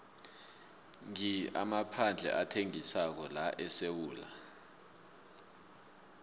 ngi amaphandle athengisako laesewula